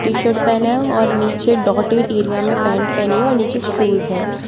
T shirt पहना है और नीचे डॉटेड एरिया में पेंट पहनी है और नीचे शूज है।